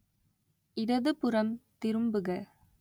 இடதுபுறம் திரும்புக